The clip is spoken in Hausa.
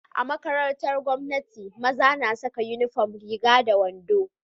A makarantar gwamnati maza na Saka inufom Riga da wando fari